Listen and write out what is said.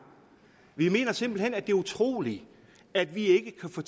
vi mener simpelt hen at det er utroligt at vi ikke kan få